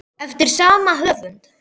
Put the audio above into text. Eftir sama höfund